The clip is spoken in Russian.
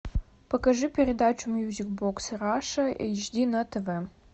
покажи передачу мьюзик бокс раша эйч ди на тв